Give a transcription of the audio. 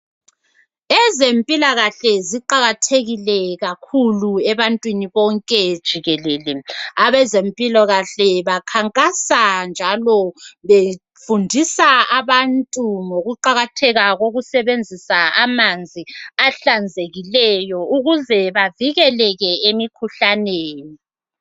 Ezempilakahle ziqakathekile kakhulu ebantwini bonke jikelele abazempila kahle bakhankasa njalo befundisa abantu ngokuqakatheka kokusebenzisa amanzi ahlazekileyo ukuze bavikeleke emikhuhlaneni neni